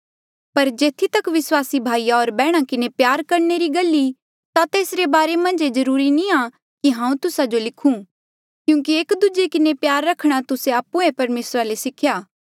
पर जेथी तक विस्वासी भाईया होर बैहणा किन्हें प्यार करणे री गल ई ता तेसरे बारे मन्झ ये जरूरी नी आ कि कोई हांऊँ तुस्सा जो लिखूं क्यूंकि एक दूजे किन्हें प्यार रखणा तुस्से आप्हुए परमेसरा ले सिख्या